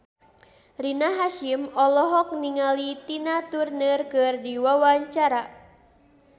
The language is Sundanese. Rina Hasyim olohok ningali Tina Turner keur diwawancara